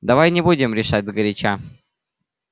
давай не будем решать сгоряча